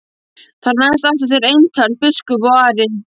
Þar næst áttu þeir eintal biskup og Ari.